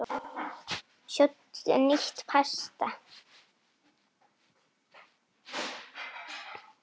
Sjóddu nýtt pasta.